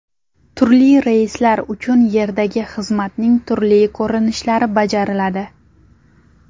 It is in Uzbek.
Turli reyslar uchun yerdagi xizmatning turli ko‘rinishlari bajariladi.